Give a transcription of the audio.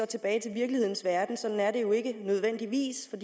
tilbage til virkelighedens verden for sådan er det jo ikke nødvendigvis for